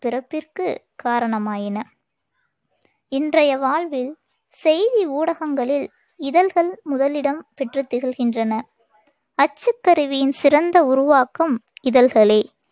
பிறப்பிற்குக் காரணமாயின இன்றைய வாழ்வில் செய்தி ஊடகங்களில் இதழ்கள் முதலிடம் பெற்றுத் திகழ்கின்றன அச்சுக் கருவியின் சிறந்த உருவாக்கம் இதழ்களே.